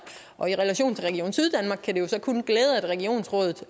og i relation til at regionsrådet